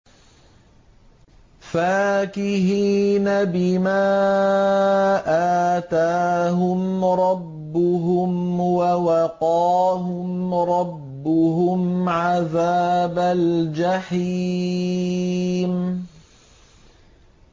فَاكِهِينَ بِمَا آتَاهُمْ رَبُّهُمْ وَوَقَاهُمْ رَبُّهُمْ عَذَابَ الْجَحِيمِ